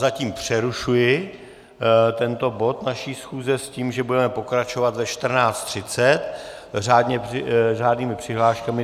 Zatím přerušuji tento bod naší schůze s tím, že budeme pokračovat ve 14.30 řádnými přihláškami.